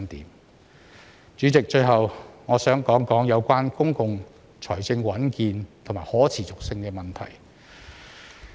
代理主席，最後我想談談有關公共財政穩健和可持續性的問題。